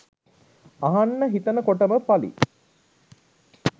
අහන්න හිතනකොටම ප.ලි.